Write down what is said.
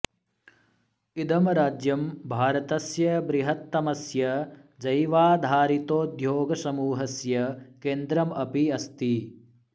इदं राज्यं भारतस्य बृहत्तमस्य जैवाधारितोद्योगसमूहस्य केन्द्रम् अपि अस्ति